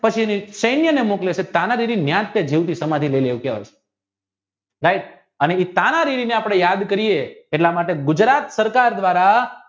પછીની સેન્યને મોકલે છે પણ તાનાજી ત્યાંજ સમાધિ લેય છે ભાઈ તાનાજી ને અપને યાદ કરીયે એટલે માટે ગુજરાત સરકાર દ્વારા